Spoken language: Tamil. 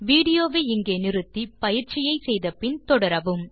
வீடியோ வை நிறுத்தி பயிற்சியை முடித்த பின் தொடரவும்